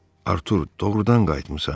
Artur, doğrudan qayıtmısan?